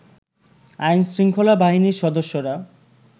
আইনশৃঙ্খলা বাহিনীর সদস্যরা